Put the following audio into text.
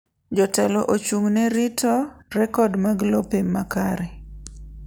Jotelo ochung'ne rito rekod mag lope ma kare.